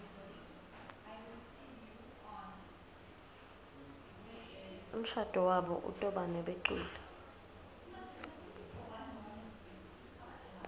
umshado wabo utobanebeculi